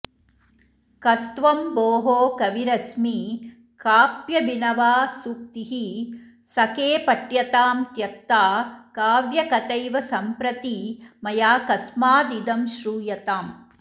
कस्त्वं भोः कविरस्मि काप्यभिनवा सूक्तिः सखे पठ्यतां त्यक्ता काव्यकथैव सम्प्रति मया कस्मादिदं श्रूयताम्